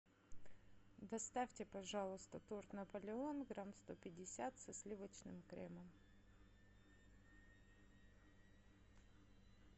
доставьте пожалуйста торт наполеон грамм сто пятьдесят со сливочным кремом